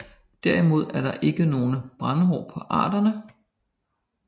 Derimod er der ikke nogen brændhår på arterne